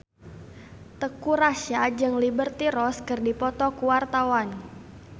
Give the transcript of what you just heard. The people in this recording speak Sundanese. Teuku Rassya jeung Liberty Ross keur dipoto ku wartawan